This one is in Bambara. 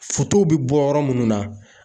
be bɔ yɔrɔ munnu na.